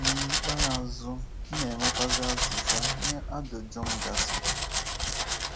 N'ikpeazụ, m na enwetazi azịza nye ajụjụ m gasi.